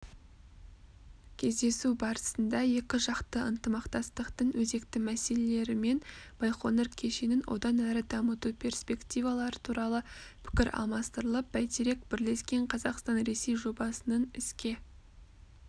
кездесу барысында екіжақты ынтымақтастықтың өзекті мәселелері мен байқоңыр кешенін одан әрі дамыту перспективалары туралы пікір алмастырылып бәйтерек бірлескен қазақстан-ресей жобасының іске